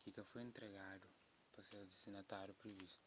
ki ka foi intregadu pa ses distinatáriu privistu